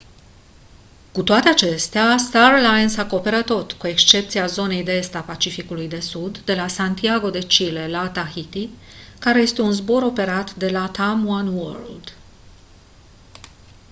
cu toate acestea star alliance acoperă tot cu excepția zonei de est a pacificului de sud de la santiago de chile la tahiti care este un zbor operat de latam oneworld